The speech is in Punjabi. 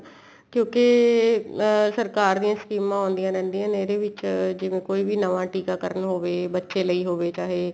ਕਿਉਂਕਿ ਅਹ ਸਰਕਾਰ ਦੀ ਸਕੀਮਾ ਆਉਂਦੀਆਂ ਰਹਿੰਦੀਆਂ ਨੇ ਇਹਦੇ ਵਿੱਚ ਜਿਵੇਂ ਕੋਈ ਵੀ ਨਵਾ ਟਿਕਾ ਕਰਨ ਹੋਵੇ ਬੱਚੇ ਲਈ ਹੋਵੇ ਚਾਹੇ